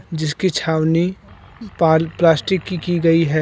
जिसकी छावनी पाल प्लास्टिक की की गई है।